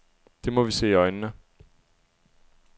Det må vi se i øjnene.